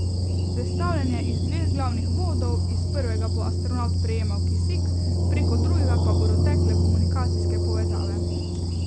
Sestavljen je iz dveh glavnih vodov, iz prvega bo astronavt prejemal kisik, preko drugega pa bodo tekle komunikacijske povezave.